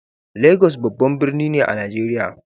Lagos babban birni ne a Najeriya.